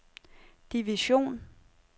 division